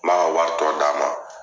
N b'a ka wari tɔ d'a ma.